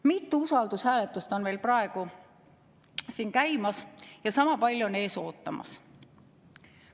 Mitu usaldushääletust on meil praegu siin käimas ja sama palju on ees ootamas.